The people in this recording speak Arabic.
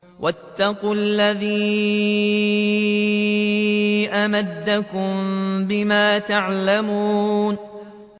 وَاتَّقُوا الَّذِي أَمَدَّكُم بِمَا تَعْلَمُونَ